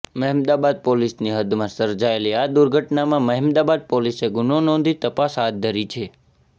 મહેમદાબાદ પોલીસની હદમાં સર્જાયેલી આ દુર્ઘટનામાં મહેમદાબાદ પોલીસે ગુનો નોંધી તપાસ હાથ ધરી છે